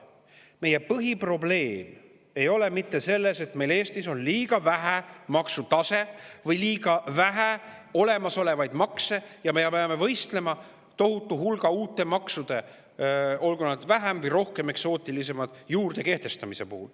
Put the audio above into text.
Meie põhiprobleem ei ole mitte see, et meil on Eestis liiga madal maksutase või liiga vähe olemasolevaid makse ja me peame võistlema tohutu hulga uute maksude – olgu need vähem või rohkem eksootilised – juurde kehtestamises.